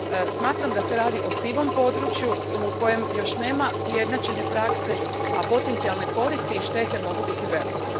Smatram da se radi o sivom području u kojem još nema ujednačene prakse, a potencijalne koristi i štete mogu biti velike.